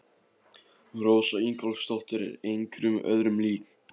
Rósa Ingólfsdóttir er engum öðrum lík.